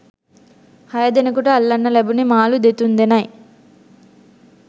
හයදෙනෙකුට අල්ලන්න ලැබුනෙ මාළු දෙතුන්දෙනයි.